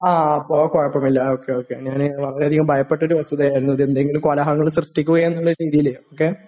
അപ്പൊ കുഴപ്പമില്ല, okay, okay. ഞാന് വളരെയധികം ഭയപ്പെട്ടൊരു വസ്തുതയായിരുന്നു. അത് എന്തെങ്കിലും കോലാഹലങ്ങൾ സൃഷ്ടിക്കുമോ എന്നുള്ള രീതിയിലൊക്കെ....